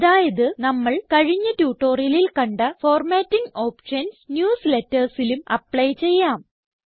അതായത് നമ്മൾ കഴിഞ്ഞ ട്യൂട്ടോറിയലിൽ കണ്ട ഫോർമാറ്റിംഗ് ഓപ്ഷൻസ് newslettersലും അപ്ലൈ ചെയ്യാം